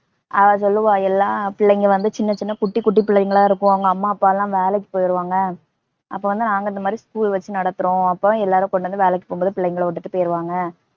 அவ சொல்லுவா எல்லாம் பிள்ளைங்க வந்து, சின்னச்சின்ன குட்டிக்குட்டி பிள்ளைங்களா இருக்கும் அவங்க அம்மா அப்பாலாம் வேலைக்கு போயிருவாங்க. அப்பவந்து நாங்க இந்தமாதிரி school லு வச்சு நடத்துறோம். அப்ப தான் எல்லாரும் கொண்டுவந்து வேலைக்கு போகும்போது புள்ளைங்கள விட்டுட்டு போய்டுவாங்க